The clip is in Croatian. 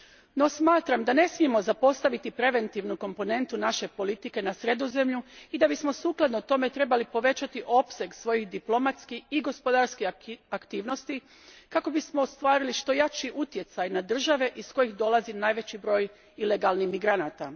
No, smatram da ne smijemo zapostaviti preventivnu komponentu naše politike na Sredozemlju i da bismo u skladu s tim trebali povećati opseg svojih diplomatskih i gospodarskih aktivnosti, kako bismo ostvarili što jači utjecaj na države iz kojih dolazi najveći broj ilegalnih migranata.